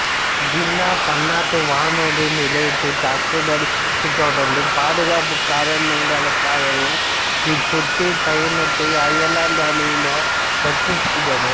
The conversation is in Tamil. ஜின்னா பன்னாட்டு வானூர்தி நிலையத் தாக்குதலைத் தொடர்ந்து பாதுகாப்புப் காரணங்களுக்காக இச்சுற்றுப் பயணத்தை அயர்லாந்து அணியினர் ரத்து செய்தனர்